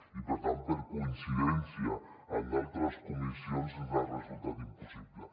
i per tant per coincidència amb altres comissions ens ha resultat impossible